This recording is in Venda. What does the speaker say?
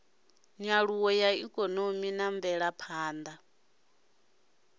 nyaluwo ya ikonomi na mvelaphanḓa